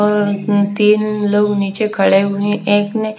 अ ऊ तीन लोग नीचे खड़े हुए है एक ने--